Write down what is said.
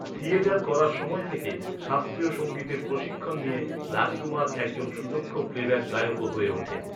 Theatre করার সময় থেকে, শাস্ত্রীয় সংগীতের প্রশিক্ষণ নিয়ে রাজকুমার একজন সুদক্ষ প্লেব্যাক গায়কও হয়ে ওঠেন।